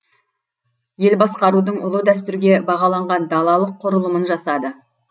ел басқарудың ұлы дәстүрге бағаланған далалық құрылымын жасады